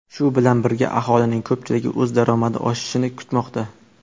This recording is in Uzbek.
Shu bilan birga, aholining ko‘pchiligi o‘z daromadi oshishini kutmoqda.